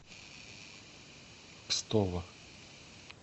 кстово